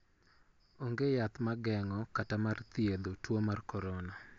Ong'e yath magengo kata mar thietho tuo mar korona.